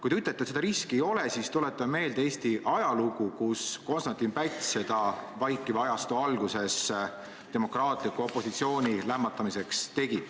Kui te ütlete, et seda riski ei ole, siis tuletan meelde Eesti ajalugu: Konstantin Päts tegi vaikiva ajastu alguses seda demokraatliku opositsiooni lämmatamiseks.